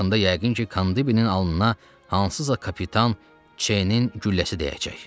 Bu yaxında yəqin ki, Kandibinin alnına hansısa kapitan C-nin gülləsi dəyəcək.